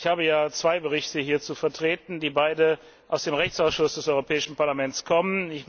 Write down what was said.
Ich habe hier zwei Berichte zu vertreten, die beide aus dem Rechtsausschuss des Europäischen Parlaments kommen.